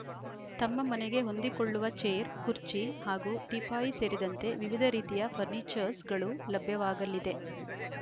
ತಮ್ಮ ಮನೆಗೆ ಹೊಂದಿಕೊಳ್ಳುವ ಚೇರ್‌ ಖುರ್ಚಿ ಹಾಗೂ ಟೀಪಾಯಿ ಸೇರಿದಂತೆ ವಿವಿಧ ರೀತಿಯ ಫರ್ನೀಚರ್ಸ್‌ಗಳು ಲಭ್ಯವಾಗಲಿದೆ